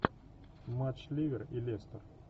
матч ливер и лестер